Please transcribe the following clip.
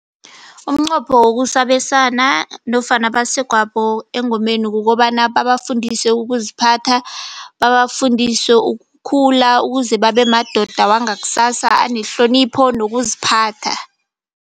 Umqopho wokusa abesana nofana abasegwabo engomeni kukobana, babafundise ukuziphatha, babafundise ukukhula. Ukuze babe madoda wangaksasa anehlonipho nokuziphatha.